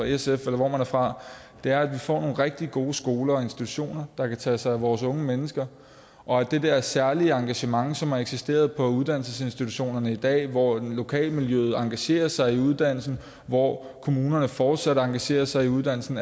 sf eller hvor man er fra er at vi får nogle rigtig gode skoler og institutioner der kan tage sig af vores unge mennesker og at det der særlige engagement som har eksisteret på uddannelsesinstitutionerne i dag hvor lokalmiljøet engagerer sig i uddannelsen hvor kommunerne fortsat engagerer sig i uddannelsen